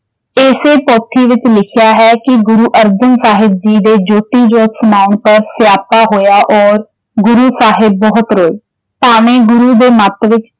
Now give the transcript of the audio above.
ਏਸੇ ਪੋਥੀ ਵਿੱਚ ਲਿਖਿਆ ਹੈ ਕਿ ਗੁਰੂ ਅਰਜਨ ਸਾਹਿਬ ਜੀ ਦੇ ਜੋਤੀ ਜੋਤ ਸਮਾਉਣ ਤੋਂ ਸਿਆਪਾ ਹੋਇਆ ਔਰ ਗੁਰੂ ਸਾਹਿਬ ਬਹੁਤ ਰੋਏ, ਭਾਵੇਂ ਗੁਰੂ ਦੇ ਮੱਤ ਵਿੱਚ।